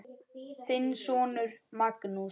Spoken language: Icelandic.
Þinn sonur Magnús.